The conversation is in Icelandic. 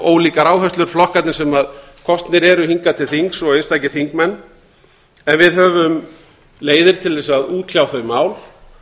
ólíkar áherslur flokkarnir sem kosnir eru hingað til þings og einstakir þingmenn en við höfum leiðir til þess að útkljá þau mál